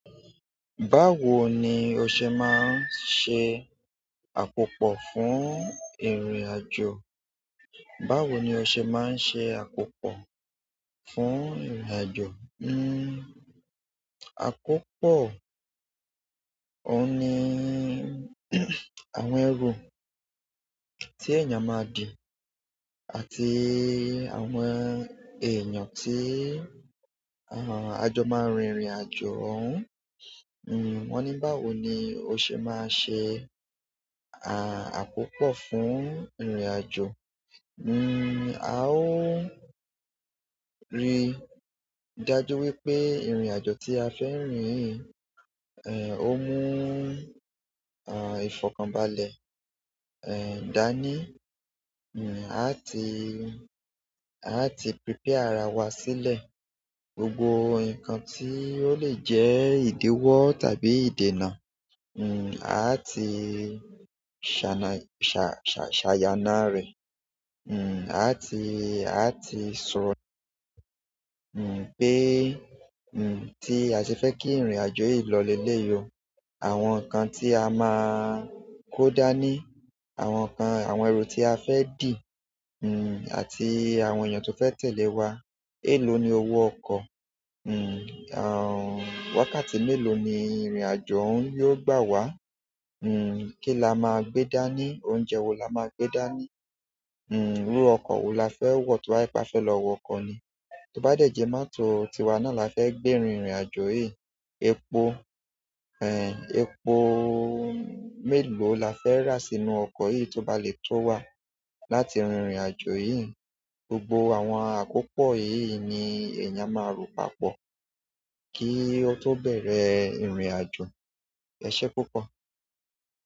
Báwo ni o ṣe máa ń ṣe àkópọ̀ fún ìrìnàjò? Báwo ni o ṣe máa ń ṣe àkópọ̀ fún ìrìnàjò? Hmm àkópọ̀, òun ni àwọn ẹrù tí èèyàn máa dì àti àwọn èèyàn tí a jọ máa rin ìrìnàjò òun. Wọ́n ní báwo ni o ṣe máa ṣe àkópọ̀ fún ìrìnàjò? Hmm a ó rí i dájú wípé ìrìnàjò tí a fẹ́ rìn o mú ìfọ̀kànbalẹ̀ dání. A ti, a ti prepare ara wa sílẹ̀. Gbogbo nǹkan tí ó lè jẹ́ ìdéwọ́ tàbí ìdènà, a ti ṣàyàná rẹ̀. Hmm a á ti, a á ti sọ pé tí a ṣe fẹ́ kí ìrìnàjò yìí lọ lé léèyì o. Àwọn nǹkan tí a máa kó dání, àwọn ẹrù tí a fẹ́ dì, àti àwọn èèyàn tí ó fẹ́ tẹ̀lé wa. Èló ni owó ọkọ̀? Wákàtí mélòó ni ìrìnàjò ọ̀ún yóò gbà wá? Kí la máa gbé dání? Oúnjẹ wo la máa gbé dání? Lóò ọkọ̀ wo la fẹ́ wọ̀ tí wà bá fẹ́ lọ wọ ọkọ̀ ni? Tí ó bá dẹ̀ jẹ́ mọ́tò tiwa náà la fẹ́ gbé rin ìrìnàjò yìí, epo mélòó la fẹ́ rà sínú ọkọ̀ yìí tó bá lè tó wà láti rin ìrìnàjò yìí? Gbogbo àwọn àkópọ̀ èyí ni èèyàn máa rò papọ̀ kí ó tó bẹ̀rẹ̀ ìrìnàjò. Ẹ ṣé púpọ̀.